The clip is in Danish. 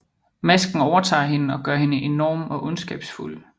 Masken overtager hende og gør hende enorm og ondskabsfuld